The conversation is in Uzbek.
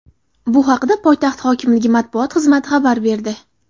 Bu haqda poytaxt hokimligi matbuot xizmati xabar berdi.